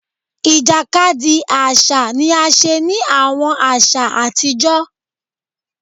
Ìjàkadì àṣà ni a ṣe ni àwọn aṣa àtijọ́